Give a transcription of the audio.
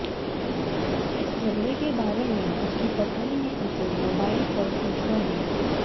इस झगड़े के बारे में उसकी पत्नी ने उसे मोबाइल पर सूचना दी